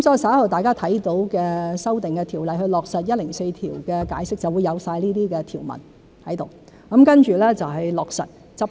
稍後大家看到為落實第一百零四條的解釋的修訂條例便會包括這些條文，接着就是落實、執行。